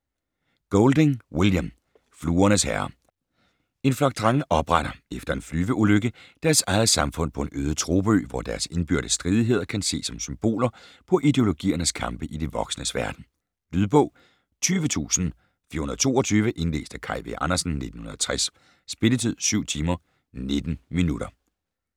Golding, William: Fluernes herre En flok drenge opretter - efter en flyveulykke - deres eget samfund på en øde tropeø, hvor deres indbyrdes stridigheder kan ses som symboler på ideologiernes kampe i de voksnes verden. Lydbog 20422 Indlæst af Kaj V. Andersen, 1960. Spilletid: 7 timer, 19 minutter.